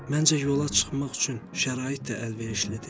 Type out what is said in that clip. Məncə yola çıxmaq üçün şərait də əlverişlidir.